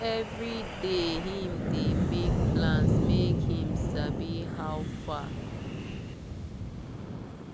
every day him dey make plans make him sabi how far.